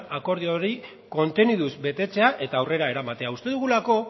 akordio hori konteniduz betetzea eta aurrera eramatea uste dugulako